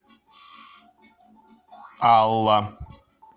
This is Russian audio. алла